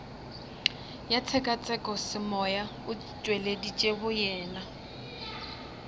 ya tshekatshekosemoya o tšweleditše boyena